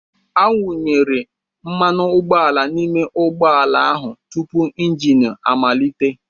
Awụnyere mmanụ ụgbọala n'ime ụgbọ ala ahụ tupu engine amalite.